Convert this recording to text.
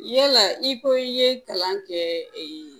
Yala i ko i ye kalan kɛ